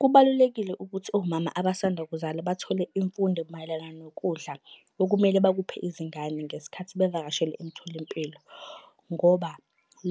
Kubalulekile ukuthi omama abasanda kuzala bathole imfundo mayelana nokudla okumele bakuphe izingane ngesikhathi bevakashele emtholampilo, ngoba